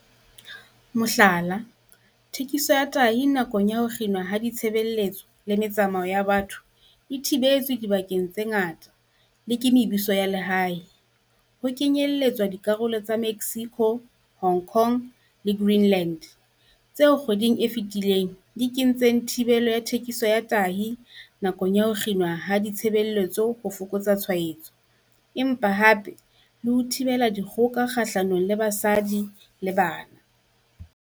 Mohlala, thekiso ya tahi nakong ya ho kginwa ha ditshebeletso le metsamao ya batho e thibetswe dibakeng tse ngata le ke mebuso ya lehae, ho kenyeletswa dikarolo tsa Mexico, Hong Kong le Green-land, tseo kgweding e fetileng di kentseng thibelo ya thekiso ya tahi nakong ya ho kginwa ha ditshebeletso ho fokotsa ditshwaetso empa hape le 'ho thibela dikgoka kgahlanong le basadi le bana.'